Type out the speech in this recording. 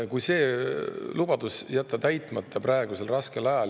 Kui see lubadus praegusel raskel ajal täitmata jätta …